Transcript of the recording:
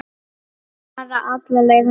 Bara alla leið þangað!